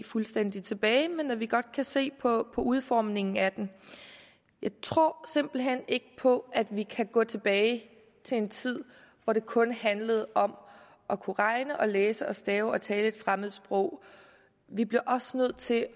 fuldstændig tilbage men at vi godt kan se på udformningen af den jeg tror simpelt hen ikke på at vi kan gå tilbage til en tid hvor det kun handlede om at kunne regne og læse og stave og tale et fremmed sprog vi bliver også nødt til